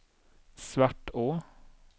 Svartå